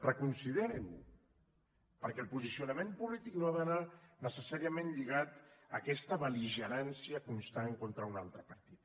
reconsiderin ho perquè el posicionament polític no ha d’anar necessàriament lligat a aquesta bel·ligerància constant contra un altre partit